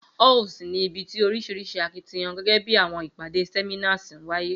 Halls ni ibi ti orisirisi akitiyan, gẹgẹ bi awọn ipade, seminars waye